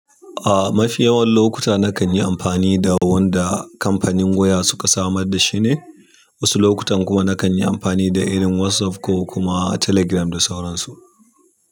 Ah, mafi yawan lokuta nakan yi amfani da wanda kamfanin wuya suka samar da shi ne. Wasu lokutan kuma nakan yi amfani da irin WhatsApp ko kuma Telegram da sauransu.